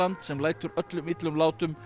sem lætur öllum illum látum